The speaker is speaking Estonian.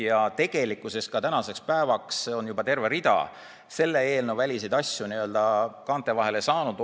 Ja tegelikkuses on tänaseks päevaks juba terve rida selle eelnõu väliseid asju kaante vahele saanud.